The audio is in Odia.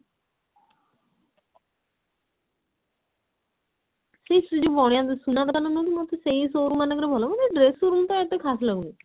ସେଇ ଯଉ ବଣିଆ ସୁନା ଦୋକାନ ଟା ନୁହଁ କି ମୋତେ ସେଇ showroom ମାନଙ୍କ ରେ ଭଲ ମୋତେ dress showroom ଟା ଏତେ ଖାସ୍ ଲାଗୁନି